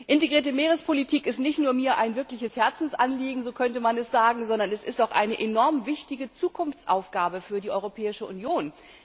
Integrierte Meerespolitik ist mir nicht nur ein wirkliches Herzensanliegen so könnte man es sagen sondern es ist auch eine enorm wichtige Zukunftsaufgabe für die Europäische Union.